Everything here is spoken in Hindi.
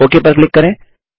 ओक पर क्लिक करें